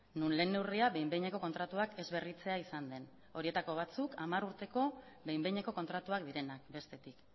non lehen neurria behin behineko kontratuak ez berritzea izan den horietako batzuk hamar urteko behin behineko kontratuak direnak bestetik